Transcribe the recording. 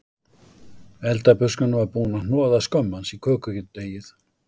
Eldabuskan var búin að hnoða skömm hans í kökudeigið